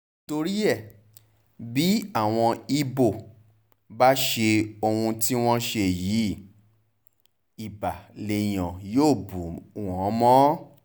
nítorí ẹ bí àwọn ibo bá ṣe ohun tí wọ́n ṣe yìí ibà lèèyàn yọ́ bù wọ́n mọ́